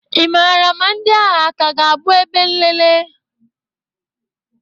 ị maara ma ndị agha ka ga-abụ ebe nlele?